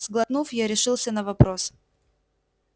сглотнув я решился на вопрос